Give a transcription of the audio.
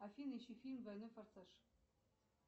афина ищи фильм двойной форсаж